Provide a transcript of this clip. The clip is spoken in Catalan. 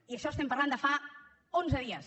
i en això estem parlant de fa onze dies